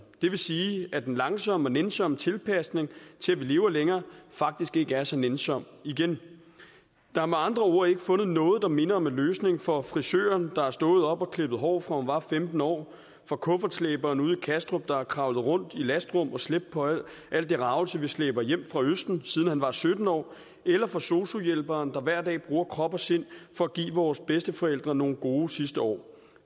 det vil sige at den langsomme og nænsomme tilpasning til at vi lever længere faktisk ikke er så nænsom igen der er med andre ord ikke fundet noget der minder om en løsning for frisøren der har stået op og klippet hår fra hun var femten år for kuffertslæberen ude i kastrup der har kravlet rundt i lastrum og slæbt på al det ragelse vi slæber hjem fra østen siden han var sytten år eller for sosu hjælperen der hver dag bruger krop og sind for at give vores bedsteforældre nogle gode sidste år